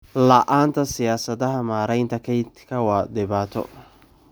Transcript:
La'aanta siyaasadaha maaraynta kaynta waa dhibaato.